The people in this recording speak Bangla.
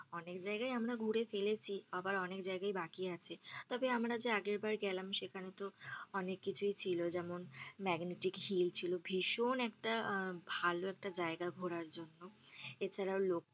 অনেক জায়গায় আমরা ঘুরে ফেলেছি আবার অনেক জায়গায় বাকি আছে তবে আমরা যে আগের বার গেলাম সেখানে তো অনেক কিছুই ছিল যেমন megnatic hill ছিল ভীষন একটা ভালো একটা জায়গা ঘোরার জন্য এছাড়াও,